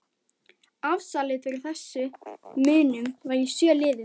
Afsalið fyrir þessum munum var í sjö liðum